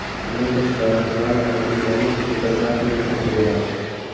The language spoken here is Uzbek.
Bundan tashqari, ba’zi paketlarga tipografik muhr qo‘yiladi.